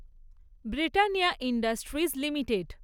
Britannia Industries limited